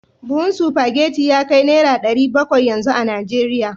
Buhun spaghetti ya kai naira dari bakwai yanzu a Najeriya